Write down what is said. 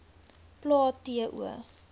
plae t o